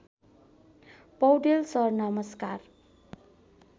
Paudel sir नमस्कार